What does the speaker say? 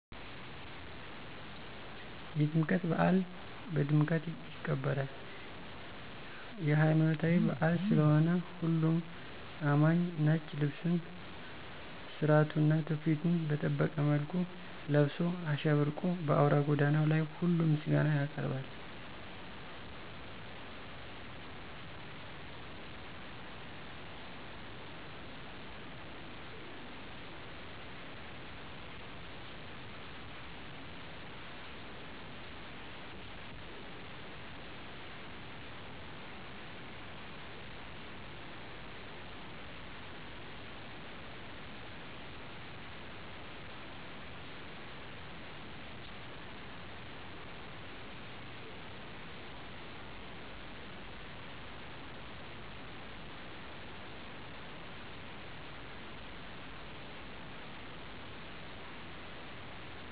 የጥምቀት በአል ቀድምቀት ይከበራል። የለይማኖታዊበአል ስለሆነሁሉም አማኚ ነጭ ልብሱን ስራቱና ትውፊቱን በጠበቀ መልኩ ለብሶ አሸብርቆ በአውራ ጎዳናው ላይ ሁሉም ምስጋና ያቀርባል።